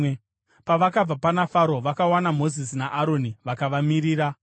Pavakabva pana Faro, vakawana Mozisi naAroni vakavamirira,